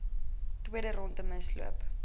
tweede rondte misloop